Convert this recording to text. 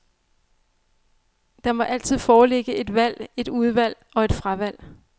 Der må altid foreligge et valg, et udvalg og et fravalg.